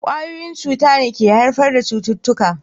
Kwayoyin cuta ne ke haifar da cututtuka